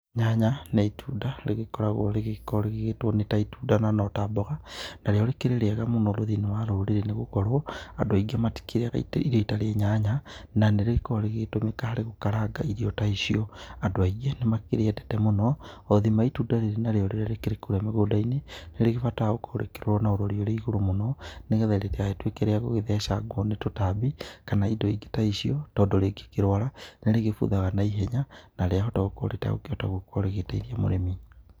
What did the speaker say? Nyanya nĩ itunda rĩgĩkoragwo rĩgĩkoragwo rĩgĩĩtwo nĩ ta itunda na no ta mboga, narĩo rĩkĩrĩ rĩega mũno thĩinĩ wa rũrĩrĩ nĩgũkorwo andũ aĩngĩ matikĩrĩaga itarĩ irio itarĩ nyanya, na nĩrĩgĩkoragwo rĩgĩgĩtũmĩka harĩ gũkaranga irio ta icio. Andũ aĩngĩ nĩmakĩrĩendete mũno o thima wa itunda rĩrĩ narĩo rĩrĩa rĩkĩrĩ kũrĩa mĩgũndainĩ nĩrĩgĩbataraga gũkorwo rĩkĩrorwo na ũrori ũrĩ igũrũ mũno nĩgetha rĩtigagĩtũĩke rĩa gũgĩthecangwo ni tũtambi kana indo ingĩ ta icio tondũ rĩngĩkĩrwara nĩrĩgĩbuthaga na ihenya mũno na rĩahota gũkorwo rĩtagũkĩhota gũkorwo rĩtagũteithia mũrĩmi.